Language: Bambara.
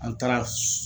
An taara